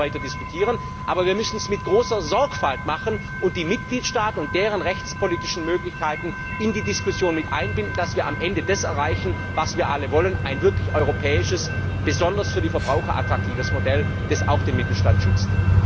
Wir müssen weiter darüber diskutieren, aber wir müssen es mit großer Sorgfalt machen und die Mitgliedstaaten und deren rechtspolitische Möglichkeiten in die Diskussion mit einbinden, damit wir am Ende das erreichen, was wir alle wollen Ein wirklich europäisches, besonders für die Verbraucher attraktives Modell, das auch den Mittelstand schützt.